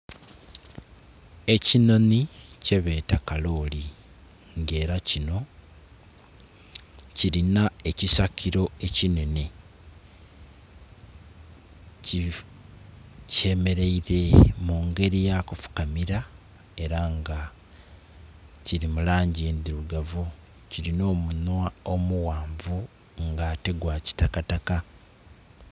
Ekinhoni kyebeta kaloli nga era kino kirina ekisakiro ekinhenhe kyemeraire mungere eyokufukamira era nga kiri mulangi endhirugavu, kiri n'omunhwa omughanvu nga ate gwakitakataka.